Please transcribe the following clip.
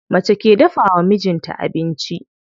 Mace ke dafawa mijin ta abinci.